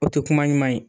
O tɛ kuma ɲuman ye